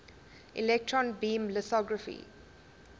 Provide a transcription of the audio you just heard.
electron beam lithography